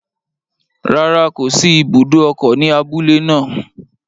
Rárá, kò sí ibùdó ọkọ̀ ní abúlé naa